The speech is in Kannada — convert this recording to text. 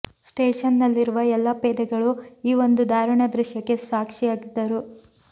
ಸ್ಟೇಷನ್ ನಲ್ಲಿರುವ ಎಲ್ಲ ಪೇದೆಗಳೂ ಈ ಒಂದು ದಾರುಣ ದೃಶ್ಯಕ್ಕೆ ಸಾಕ್ಷಿಯಾಗಿದ್ದರು